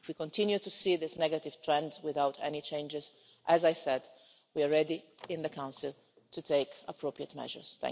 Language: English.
If we continue to see this negative trend without any changes, as I said, we are ready in the Council to take appropriate measures.